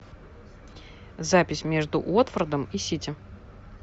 запись между уотфордом и сити